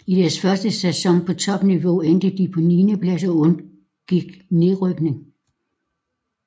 I deres første sæson på topniveau endte de på en niendeplads og undgik nedrykning